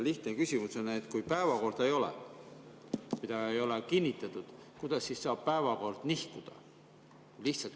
Lihtne küsimus on, et kui ei ole päevakorda, seda ei ole kinnitatud, kuidas siis saab päevakord nihkuda.